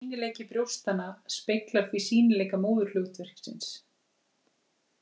Sýnileiki brjóstanna speglar því sýnileika móðurhlutverksins.